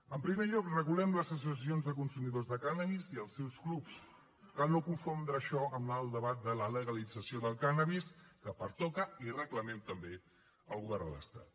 en primer lloc regulem les associacions de consumidors de cànnabis i els seus clubs cal no confondre això amb el debat de la legalització del cànnabis que pertoca i reclamem també al govern de l’estat